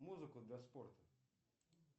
музыку для спорта